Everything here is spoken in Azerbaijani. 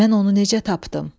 Mən onu necə tapdım?